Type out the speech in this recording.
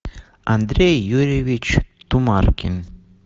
андрей юрьевич тумаркин